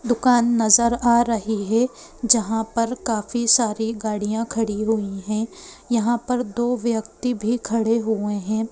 दुकान नजर आ रही है जहाँ पर काफी सारी गाड़ियां खड़ी हुई हैं जहाँ पर दो व्यक्ति भी खड़े हुए हैं।